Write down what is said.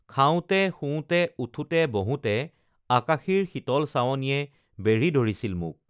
খাওঁতে শুওঁতে উঠোঁতে বহোঁতে আকাশীৰ শীতল চাৱনিয়ে বেঢ়ি ধৰিছিল মোক